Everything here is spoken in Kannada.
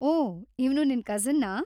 ಓ, ಇವ್ನು ನಿನ್ ಕಸಿನ್ನಾ?